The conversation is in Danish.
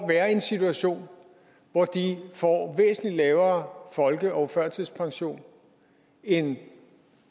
være i en situation hvor de får væsentlig lavere folke og førtidspension end